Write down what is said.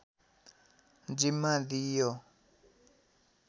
जिम्मा दिइयो